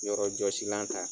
yɔrɔ jɔsilan ta.